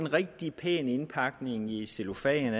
en rigtig pæn indpakning i cellofan